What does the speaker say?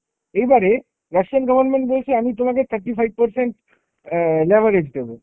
এইবারে Russian government বলছে আমি তোমাকে thirty five percent অ্যাঁ leverage দেব